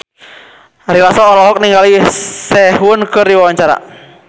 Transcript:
Ari Lasso olohok ningali Sehun keur diwawancara